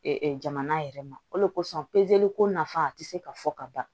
jamana yɛrɛ ma o de kosɔn pezeli ko nafa ti se ka fɔ ka ban